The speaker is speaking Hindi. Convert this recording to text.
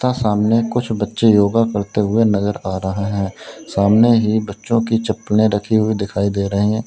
था सामने कुछ बच्चे योगा करते हुए नजर आ रहे हैं सामने ही बच्चों की चप्पले रखी हुई दिखाई दे रही हैं।